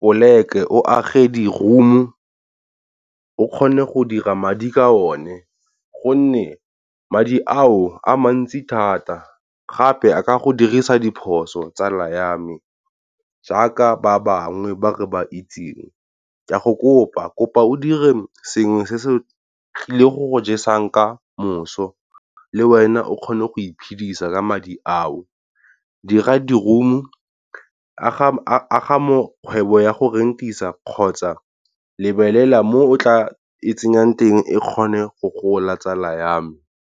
poleke o age di-room o kgone go dira madi ka one. Gonne madi ao a mantsi thata gape a ka go dirisa diphoso tsala ya me. Jaaka ba bangwe ba re ba itseng ke a go kopa, kopa o dire sengwe se se tlileng go jesang ka moso, le wena o kgone go iphidisa ka madi a o. Dira di-room aga kgwebo ya go rent-isa kgotsa lebelela mo o tla e tsenyang teng e kgone go gola tsala yame.